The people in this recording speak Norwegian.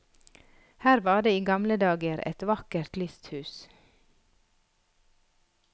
Her var det i gamle dager et vakkert lysthus.